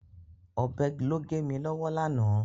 Ọ̀bẹ ló gé mi lọ́wọ́ lánàá.